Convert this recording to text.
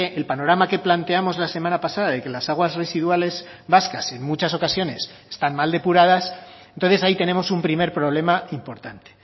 el panorama que planteamos la semana pasada de que las aguas residuales vascas en muchas ocasiones están mal depuradas entonces ahí tenemos un primer problema importante